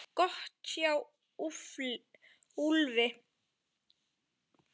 Gott hjá Úlfi!